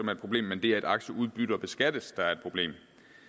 er et problem men det at aktieudbytter beskattes der er et problem